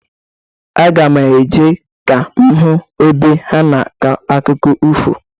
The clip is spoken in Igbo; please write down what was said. Aga m eje ka m hụ ebe ha na-akọ akụkọ ifo.